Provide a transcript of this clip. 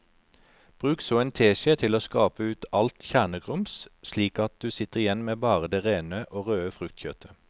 Bruk så en teskje til å skrape ut alt kjernegrums slik at du sitter igjen med bare det rene og røde fruktkjøttet.